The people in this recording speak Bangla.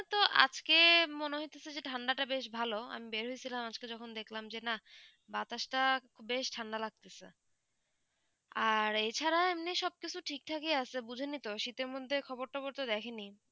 আজকে মনে হয়ে তো যে ঠান্ডা তা বেশ ভালো আমি বের হয়ে ছিলাম আজকে যে দেখলাম না বাতাস তা খুব বেশ ঠান্ডা লাগতেছে আর এই ছাড়া এমনি সব কিছু ঠিক থাক ই আছে বুঝে নি তো শীতে মদদে খবর তবর তো দেখি নি